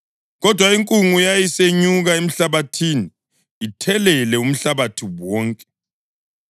kodwa inkungu yayisenyuka emhlabathini, ithelele umhlabathi wonke.